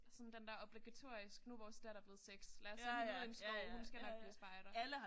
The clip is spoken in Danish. Sådan den der obligatorisk nu vores datter blevet 6 lad os sende hende ud i en skov hun skal nok blive spejder